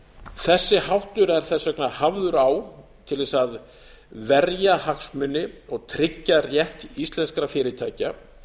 þessi háttur er þess vegna hafður á til þess að verja hagsmuni og tryggja rétt íslenskra fyrirtækja